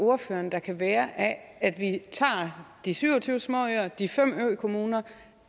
ordføreren der kan være af at vi tager de syv og tyve småøer de fem økommuner